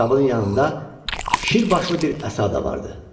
Ayaqqabının yanında şirbaşlı bir əsa da vardı.